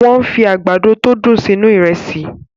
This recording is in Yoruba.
Wọ́n fi àgbàdo tó dùn sínú Ìrẹ́sì